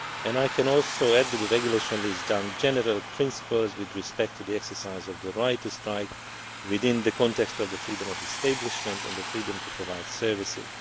I can also add that the regulation lays down general principles with respect to the exercise of the right to strike within the context of the freedom of establishment and the freedom to provide services.